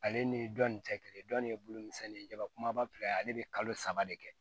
Ale ni dɔnni tɛ kelen ye dɔnni ye bulumisɛnnin ye jaba kumaba ale bɛ kalo saba de kɛ